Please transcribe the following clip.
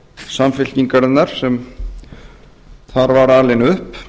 samfylkingarinnar sem þar var alinn upp